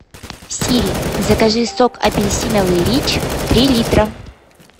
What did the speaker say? сири закажи сок апельсиновый рич три литра